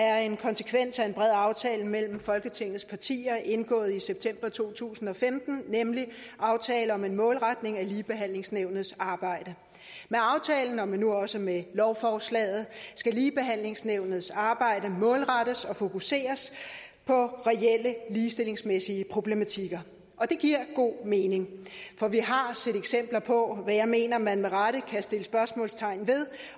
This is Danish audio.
er en konsekvens af en bred aftale mellem folketingets partier indgået i september to tusind og femten nemlig aftale om en målretning af ligebehandlingsnævnets arbejde med aftalen og nu også med lovforslaget skal ligebehandlingsnævnets arbejde målrettes og fokuseres på reelle ligestillingsmæssige problematikker og det giver god mening for vi har set eksempler på som jeg mener man med rette kan sætte spørgsmålstegn ved